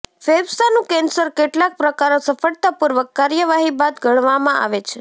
ફેફસાંનું cancer કેટલાક પ્રકારો સફળતાપૂર્વક કાર્યવાહી બાદ ગણવામાં આવે છે